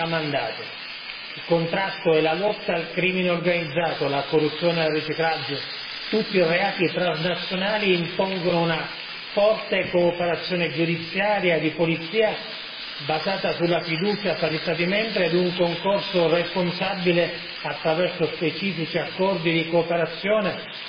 Il contrasto e la lotta al crimine organizzato, la corruzione al riciclaggio, tutti i reati transnazionali impongono una forte cooperazione giudiziaria e di polizia basata sulla fiducia tra gli Stati membri ed un concorso responsabile attraverso specifici accordi di cooperazione dei paesi terzi.